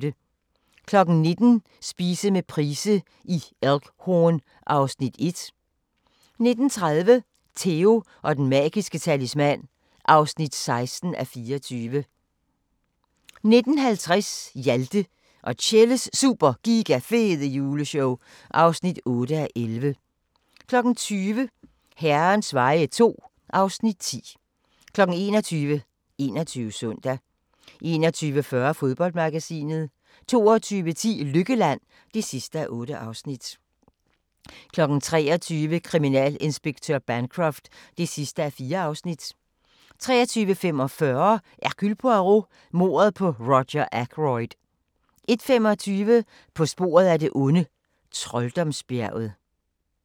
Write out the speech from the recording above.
19:00: Spise med Price i Elk Horn (Afs. 1) 19:30: Theo & den magiske talisman (16:24) 19:50: Hjalte og Tjelles Super Giga Fede Juleshow (8:11) 20:00: Herrens veje II (Afs. 10) 21:00: 21 Søndag 21:40: Fodboldmagasinet 22:10: Lykkeland (8:8) 23:00: Kriminalinspektør Bancroft (4:4) 23:45: Hercule Poirot: Mordet på Roger Ackroyd 01:25: På sporet af det onde: Trolddomsbjerget